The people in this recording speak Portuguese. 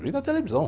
Vi na televisão.